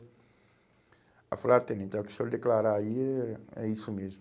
Aí eu falei, ah, tenente, o que o senhor declarar aí é é isso mesmo.